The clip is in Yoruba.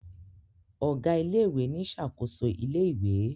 Ọgá ilé ìwé ní ṣakoso ilé ìwé